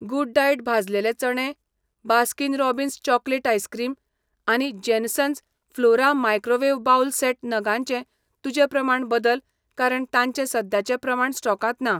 Good diet भाजलेले चणे, Baskin Robbins chocolate ice cream आनी Jansons Flora microwave bowl set नगांचें तुजें प्रमाण बदल कारण तांचे सद्याचे प्रमाण स्टॉकांत ना.